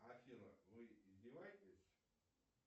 афина вы издеваетесь